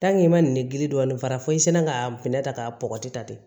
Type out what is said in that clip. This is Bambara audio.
i ma nin gili kɔni fara fɔ i senna ka minɛ ta ka bɔgɔti ta ten